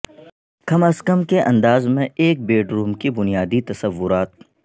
کم از کم کے انداز میں ایک بیڈروم کی بنیادی تصورات